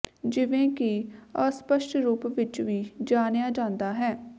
ਜਿਵੇਂ ਕਿ ਅਸਪਸ਼ਟ ਰੂਪ ਵਿਚ ਵੀ ਜਾਣਿਆ ਜਾਂਦਾ ਹੈ